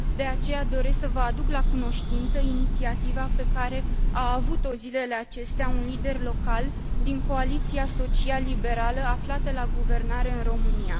De aceea, doresc să vă aduc la cunoștință inițiativa pe care a avut o zilele acestea un lider local din coaliția social liberală aflată la guvernare în România.